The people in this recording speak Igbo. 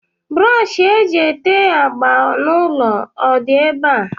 Brọọshị e ji ete agba n'ụlọ ọdị ebe a?